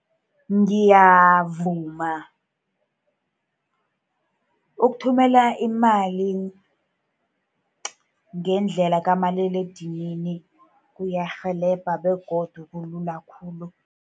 Ngiyavuma, ukuthumela imali ngendlela kamaliledinini kuyarhelebha, begodu kulula khulu.